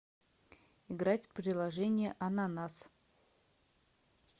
играть в приложение ананас